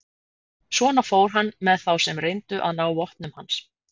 Svona fór hann með þá sem reyndu að ná vopnum hans.